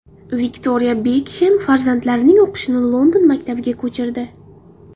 Viktoriya Bekxem farzandlarining o‘qishini London maktabiga ko‘chirdi.